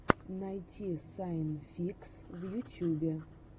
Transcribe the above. найти сайн фикс в ютьюбе